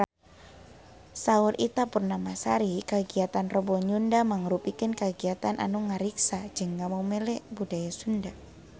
Saur Ita Purnamasari kagiatan Rebo Nyunda mangrupikeun kagiatan anu ngariksa jeung ngamumule budaya Sunda